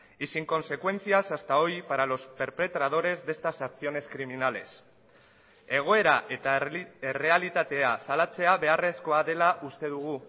y sin consecuencias hasta hoy para los perpetradores de estas acciones criminales egoera eta errealitatea salatzea beharrezkoa dela uste dugu